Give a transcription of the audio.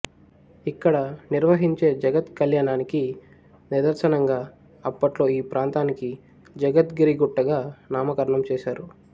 ఇక్కడ నిర్వహించే జగత్ కళ్యాణానికి నిదర్శనంగా అప్పట్లో ఈ ప్రాంతానికి జగత్ గిరి గుట్ట గా నామకరణం చేశారు